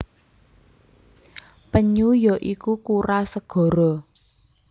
Penyu ya iku kura segara